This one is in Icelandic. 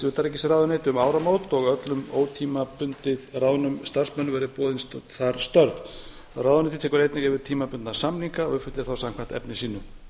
utanríkisráðuneyti um áramót og að öllum ótímabundið ráðnum starfsmönnum verði boðin þar störf ráðuneytið tekur einnig yfir tímabundna samninga og uppfyllir þá samkvæmt efni sínu